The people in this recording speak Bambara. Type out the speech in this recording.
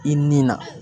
I ni na